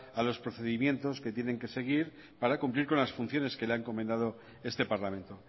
a los procedimientos que tienen que seguir para cumplir con las funciones que le ha encomendado este parlamento